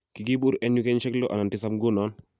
"Kiribur en yu en kenyisiek lo anan tisap ngunon."